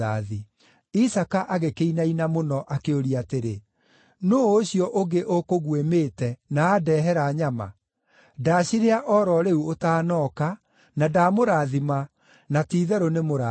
Isaaka agĩkĩinaina mũno akĩũria atĩrĩ, “Nũũ ũcio ũngĩ ũkũguĩmĩte, na andehera nyama? Ndacirĩa o ro rĩu ũtanooka, na ndamũrathima, na ti-itherũ nĩ mũrathime.”